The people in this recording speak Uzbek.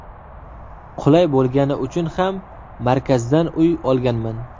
Qulay bo‘lgani uchun ham markazdan uy olganman.